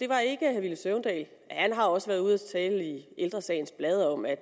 var ikke herre villy søvndal han har også været ude at tale i ældre sagens blad om at